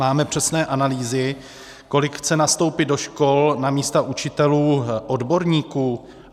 Máme přesné analýzy, kolik chce nastoupit do škol na místa učitelů, odborníků?